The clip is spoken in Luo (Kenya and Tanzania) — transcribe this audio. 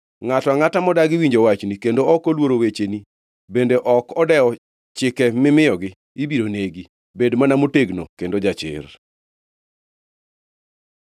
Ngʼato angʼata modagi winjo wachni kendo ok oluoro wecheni bende ok odewo chike mimiyogi, ibiro negi. Bed mana motegno kendo jachir!”